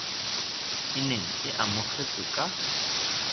e neng e amogetswe ka